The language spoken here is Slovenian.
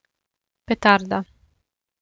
Petarda.